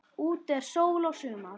Úti er sól og sumar.